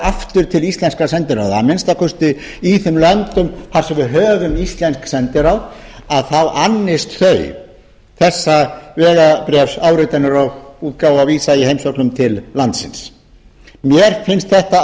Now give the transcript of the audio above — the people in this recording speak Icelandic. aftur til íslenskra sendiráða að minnsta kosti í þeim löndum þar sem við höfum íslensk sendiráð að þá annist þau þessa vegabréfsáritanir og útgáfu á vísa í heimsóknum til landsins mér finnst þetta